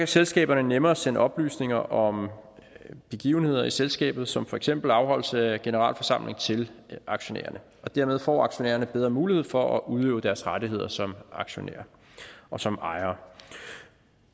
selskaberne nemmere sende oplysninger om begivenheder i selskabet som for eksempel afholdelse af en generalforsamling til aktionærerne og dermed får aktionærerne bedre mulighed for at udøve deres rettigheder som aktionærer og som ejere